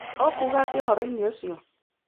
Ũkuuga atĩa ũhoro-inĩ ũcio?